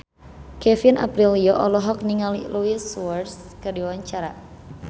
Kevin Aprilio olohok ningali Luis Suarez keur diwawancara